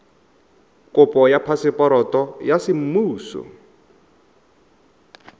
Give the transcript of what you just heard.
kopo ya phaseporoto ya semmuso